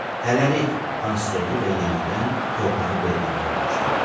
Hələlik, Hans oturdu və yenidən torpağı belləməyə başladı.